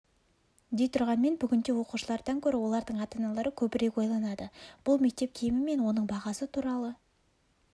дей тұрғанмен бүгінде оқушылардан гөрі олардың ата-аналары көбірек ойланады бұл мектеп киімі мен оның бағасы туралы